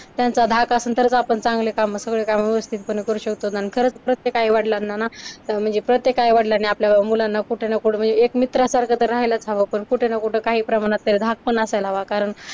त्यांचा धाक असलं तरच आपण चांगले कामं सगळे कामं व्यवस्थितपणे करू शकतो आणि खरंच प्रत्येक आई-वडलांना ना म्हणजे प्रत्येक आई-वडलांनी आपल्या मुलांना कुठं ना कुठं म्हणजे एक मित्रांसारखं तर राहायलाच हवं पण कुठं ना कुठं काही प्रमाणात तर धाक पण असायला हवा कारण